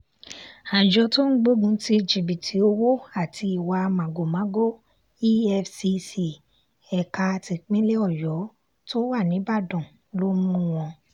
àjọ tó ń gbógun ti jìbìtì owó àti ìwà màgòmágó efcc ẹ̀ka tipinlẹ̀ ọyọ́ tó wà nìbàdàn ló mú wọn